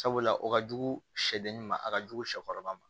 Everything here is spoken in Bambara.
Sabula o ka jugu sɛgɛn ma a ka jugu sɛkɔrɔba ma